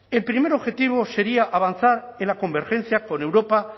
el primer objetivo sería avanzar en la convergencia con europa